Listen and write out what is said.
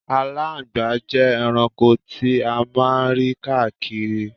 Aláńgbàá jẹ́ ẹranko ti a máa ń rí káàkiri.